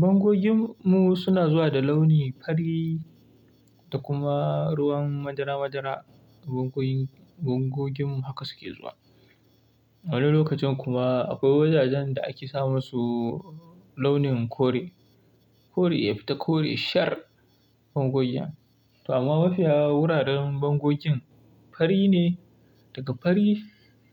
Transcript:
Bangogin mu suna zuwa da launi fari da kuma ruwan madara madara, bangogin bangogin mu haka suke zuwa. Wani lokacin kuma akwai wajajen da ake sa musu launin kore. Kore ya fita kore shar bangogin. Amma mafiya wuraren bangogin fari ne daga fari